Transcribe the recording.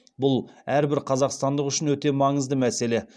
бұл әрбір қазақстандық үшін өте маңызды мәселе